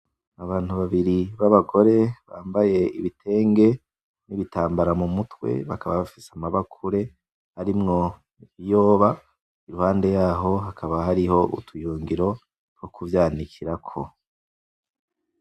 Abantu babiri b'abagore bambaye ibitenge n'ibitambara mu mutwe. Bakaba bafise amabakure arimwo ibiyoba. Iruhande yaho hakaba hariho utuyungiro two kuvyanikirako.